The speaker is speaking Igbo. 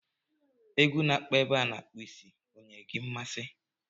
Egwu na-akpọ ebe a a na-akpụ isi ọ nyere gị mmasị